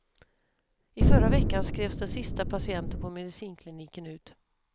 I förra veckan skrevs den sista patienten på medicinkliniken ut.